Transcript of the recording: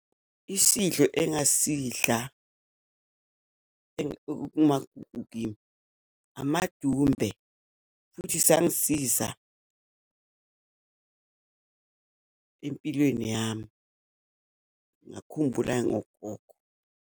Isidlo engasidla ekumagugu kimi, amadumbe futhi sangisiza empilweni yami, ngakhumbula nogogo.